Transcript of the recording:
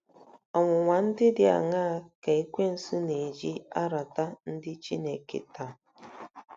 Ọnwụnwa ndị dị aṅaa ka Ekwensu na-eji arata ndị Chineke taa?